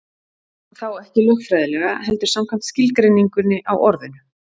Þá ekki lögfræðilega, heldur samkvæmt skilgreiningunni á orðinu.